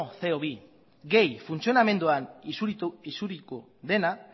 ce o bi gehi funtzionamenduan isuritu dena